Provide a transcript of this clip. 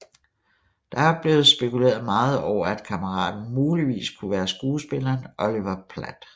Det er blevet spekuleret meget over at kammeraten muligvis kunne være skuespilleren Oliver Platt